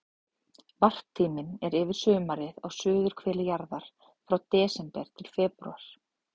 Varptíminn er yfir sumarið á suðurhveli jarðar, frá desember til febrúar.